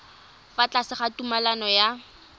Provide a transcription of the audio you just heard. fa tlase ga tumalano ya